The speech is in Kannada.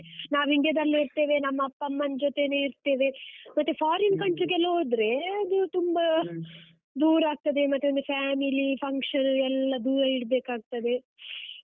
ನಾವು India ದಲ್ಲೇ ಇರ್ತೇವೆ, ನಮ್ಮ ಅಪ್ಪ ಅಮ್ಮನ್ ಜೊತೆನೇ ಇರ್ತೇವೆ, ಮತ್ತೆ foreign country ಗೆಲ್ಲ ತುಂಬ ದೂರ ಆಗ್ತದೆ, ಮತ್ತೆ ಒಂದು family, function ಎಲ್ಲ ದೂರ ಇಡ್ಬೇಕಾಗ್ತದೆ.